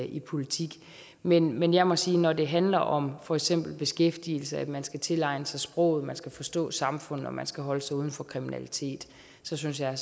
i politik men men jeg må sige at når det handler om for eksempel beskæftigelse at man skal tilegne sig sproget at man skal forstå samfundet og at man skal holde sig ude af kriminalitet så synes jeg